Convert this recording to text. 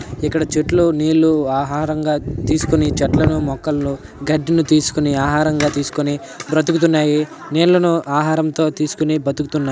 ఇక్కడ చెట్లు నీళ్లు ఆహారంగా తీసుకొని చెట్లను మొక్కలను గడ్డిని తీసుకొని ఆహారంగా తీసుకొని బ్రతుకుతున్నాయి. నీళ్లను ఆహారంతో తీసుకొని బ్రతుకుతున్నాయి.